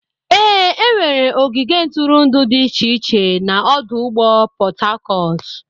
Ee, enwere ogige ntụrụndụ dị iche iche na ọdụ ụgbọ Port Harcourt.